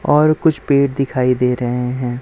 और कुछ पेड़ दिखाई दे रहें हैं।